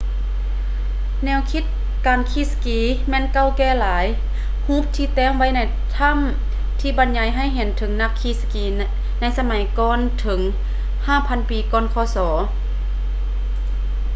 ແນວຄິດການຂີ່ສະກີແມ່ນເກົ່າແກ່ຫຼາຍ ຮູບທີ່ແຕ້ມໄວ້ໃນຖ້ຳ ທີ່ບັນຍາຍໃຫ້ເຫັນເຖິງນັກຂີ່ສະກີໃນສະໄໝກ່ອນເຖິງ 5000 ປີ ກ່ອນ ຄສ